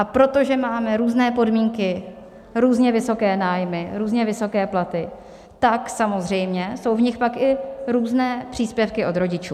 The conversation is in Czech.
A protože máme různé podmínky, různě vysoké nájmy, různě vysoké platy, tak samozřejmě jsou v nich pak i různé příspěvky od rodičů.